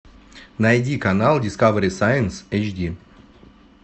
найди канал дискавери сайнс эйчди